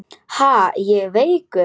Ha, ég veikur!